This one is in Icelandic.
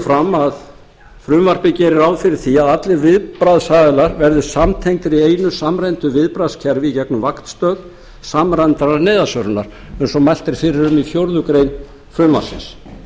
fram að frumvarpið geri ráð fyrir því að allir viðbragðsaðilar verði samtengdir í einu samræmdu viðbragðskerfi í gegnum vaktstöð samræmdrar neyðarsvörunar eins og mælt er fyrir um í fjórða grein frumvarpsins